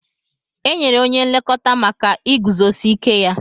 Enyere onye nlekọta maka iguzosi ike ya.